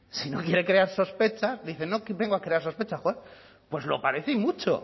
si no quiere crear sospechas dice no vengo a crear sospechas pues lo parece y mucho